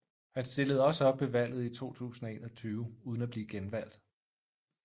Han stillede også op ved valget i 2021 uden at blive genvalgt